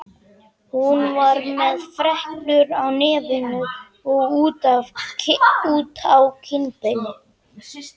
Hún var með freknur á nefinu og út á kinnbeinin.